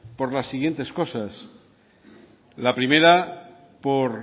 por las siguientes cosas la primera por